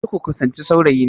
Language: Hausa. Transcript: Kar ku kusanci saurayina!